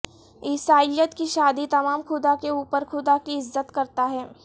عیسائیت کی شادی تمام خدا کے اوپر خدا کی عزت کرتا ہے